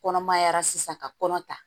Kɔnɔmaya sisan ka kɔnɔ ta